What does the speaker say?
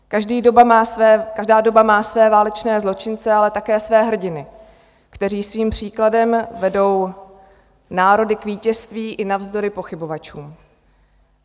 Každá doba má své válečné zločince, ale také své hrdiny, kteří svým příkladem vedou národy k vítězství i navzdory pochybovačům.